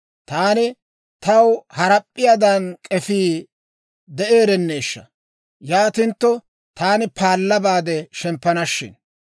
Taani, «Taw harap'p'iyaadan k'efii de'eerenneeshsha. Yaanintto taani paalla baade shemppana shin;